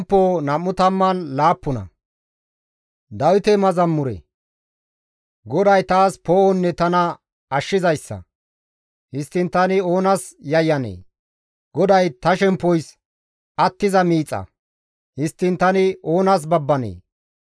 GODAY taas poo7onne tana ashshizayssa; histtiin tani oonas yayyanee? GODAY ta shemppoys attiza miixa; histtiin tani oonas babbanee?